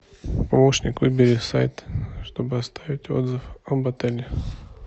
помощник выбери сайт чтобы оставить отзыв об отеле